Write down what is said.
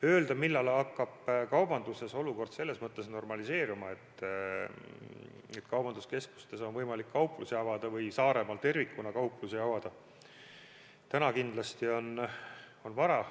Öelda, millal hakkab kaubanduses olukord normaliseeruma ja keskustes on võimalik kauplusi avada või Saaremaal tervikuna kauplusi avada, on täna kindlasti vara.